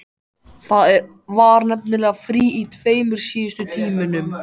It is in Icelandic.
Það var nefnilega frí í tveimur síðustu tímunum.